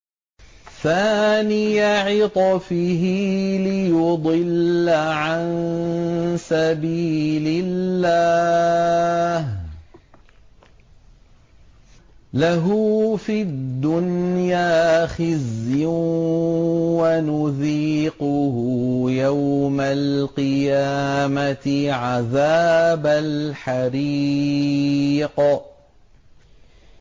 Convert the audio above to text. ثَانِيَ عِطْفِهِ لِيُضِلَّ عَن سَبِيلِ اللَّهِ ۖ لَهُ فِي الدُّنْيَا خِزْيٌ ۖ وَنُذِيقُهُ يَوْمَ الْقِيَامَةِ عَذَابَ الْحَرِيقِ